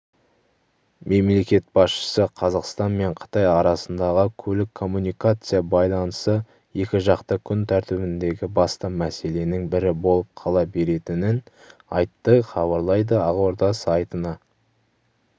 мемлекет басшысы қазақстан мен қытай арасындағы көлік-коммуникация байланысы екіжақты күн тәртібіндегі басты мәселенің бірі болып қала беретінін айтты хабарлайды ақорда сайтына